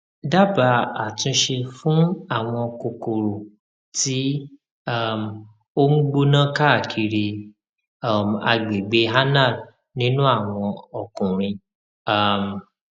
dábàá àtúnṣe fún àwọn kòkòrò tí um ó ń gbóná káàkiri um agbègbè anal nínú àwọn ọkùnrin um